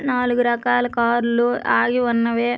నాలుగు రకాల కార్ లు ఆగి ఉన్నవి.